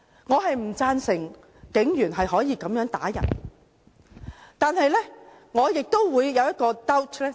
我不贊成警員可以如此打人，但我亦有 doubt。